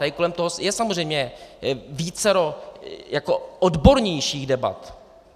Tady kolem toho je samozřejmě vícero odbornějších debat.